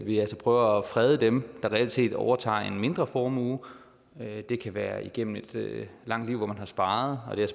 vi altså prøver at frede dem der reelt set overtager en mindre formue det kan være igennem et langt liv hvor man har sparet og det er